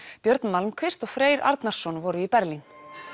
björn Malmquist og Freyr Arnarson voru í Berlín